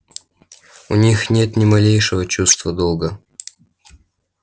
у них нет ни малейшего чувства долга